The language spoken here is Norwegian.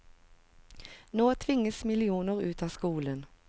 Nå tvinges millioner ut av skolen.